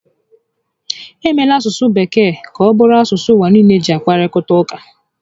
E meela asụsụ Bekee ka ọ bụrụ asụsụ ụwà nille ji akparịta ụka